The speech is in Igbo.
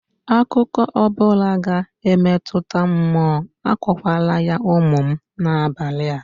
Akụkọ ọ bụla ga-emetụta mmụọ, akọkwarala ya ụmụ m n'abalị